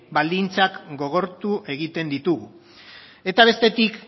baldintzak gogortu egiten ditugu eta bestetik